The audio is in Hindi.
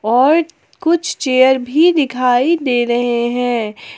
और कुछ चेयर भी दिखाई दे रहे हैं।